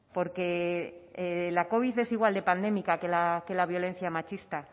porque la covid es igual de pandémica que la violencia machista